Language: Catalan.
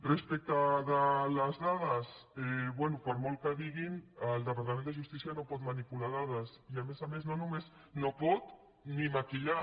respecte de les dades bé per molt que diguin el departament de justícia no pot manipular dades i a més a més no les pot ni maquillar